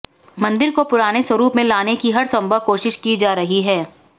मंदिर को पुराने स्वरूप में लाने की हर संभव कोशिश की जा रही है